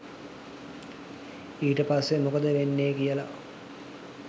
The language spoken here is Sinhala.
ඊට පස්සේ මොකද වෙන්නේ කියලා